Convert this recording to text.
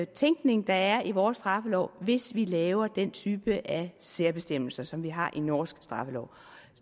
tænkning der er i vores straffelov hvis vi laver den type af særbestemmelse som de har i norsk straffelov